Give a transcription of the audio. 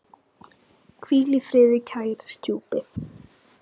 Hvíl í friði, kæri stjúpi.